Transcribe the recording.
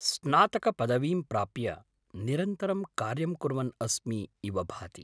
स्नातकपदवीं प्राप्य निरन्तरं कार्यं कुर्वन् अस्मि इव भाति।